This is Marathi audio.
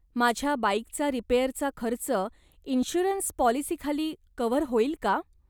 माझ्या बाईकचा रिपेअरचा खर्च इन्शुअरन्स पाॅलिसीखाली कव्हर होईल का?